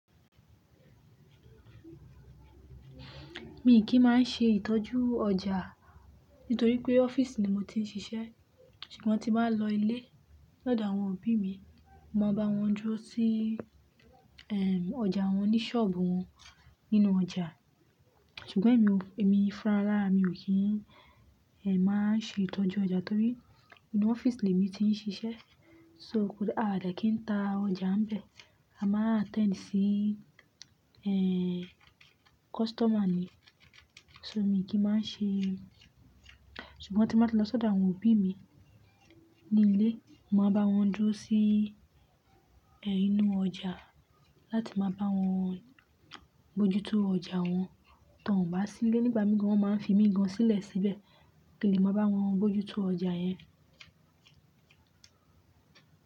Mi kì í máa ń ṣe ìtọ́jú ọjà nítorí pé ọ́fíìsì ni mo ti ń ṣiṣẹ́. Ṣùgbọ́n tí máa lọ ilé lọ́dọ̀ àwọn òbí mi, màá bá wọn dúró sí, ẹ́, ọjà wọn ní ṣọ́ọ̀bù wọn nínú ọjà. Ṣùgbọ́n èmi o-- èmi fúnra rárá mi ò kí ń, ẹ́, máa ń ṣe ìtọ́jú ọjà torí inú ọ́fíìsì ni èmi ti ń ṣiṣẹ́. So kò d á de kí ń ta ọjà bẹ̀. A máa ń attend sí, ẹ́, customer ni. So mi kì í máa ń ṣe. Ṣùgbọ́n tí mba ti lọ lọ́dọ̀ àwọn òbí mi ní ilé, màá bá wọn dúró sí, ẹ́, inú ọjà láti máa bá wọn bójú tó ọjà wọn. Tí wọ́n bá sílé nígbà mígan, wọ́n máa ń fi mígán sílẹ̀ síbẹ̀ kí èmi máa bá wọn bójú tó ọjà yẹn.